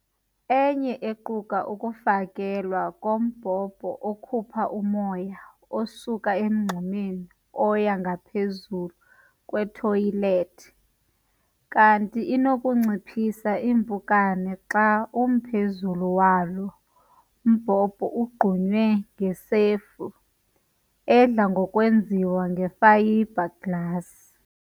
Enye iquka ukufakelwa kombhobho okhupha umoya osuka emngxumeni oya ngaphezu kwethoyilethi. Kanti inokunciphisa iimpukane xa umphezulu walo mbhobho ugqunywe ngesefu, edla ngokwenziwa ngefayibhaglasi.